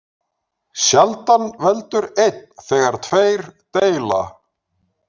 Sjaldan veldur einn þegar tveir deila.